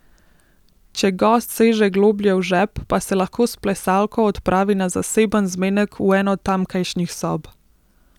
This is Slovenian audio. Če gost seže globlje v žep, pa se lahko s plesalko odpravi na zaseben zmenek v eno tamkajšnjih sob.